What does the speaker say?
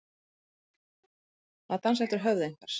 Að dansa eftir höfði einhvers